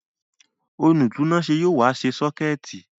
Olùtúnáṣé yóò wá ṣe sọ́kẹ̀tì